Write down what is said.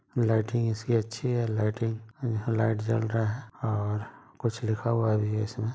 lighting इसकी अच्छी है लाइटिंग यहाँ लाइट जल रहा है और कुछ लिखा हुआ भी है इसमें --